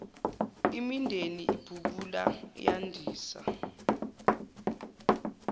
imindeni ibhukula yandisa